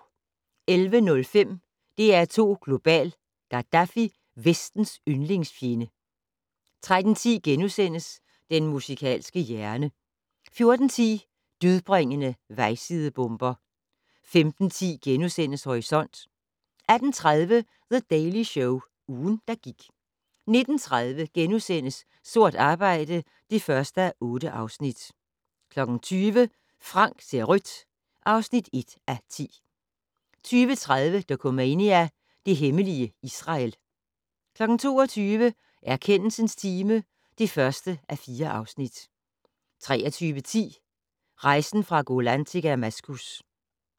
11:05: DR2 Global: Gaddafi - Vestens yndlingsfjende 13:10: Den musikalske hjerne * 14:10: Dødbringende vejsidebomber 15:10: Horisont * 18:30: The Daily Show - ugen, der gik 19:30: Sort arbejde (1:8)* 20:00: Frank ser rødt (1:10) 20:30: Dokumania: Det hemmelige Israel 22:00: Erkendelsens time (1:4) 23:10: Rejsen fra Golan til Damaskus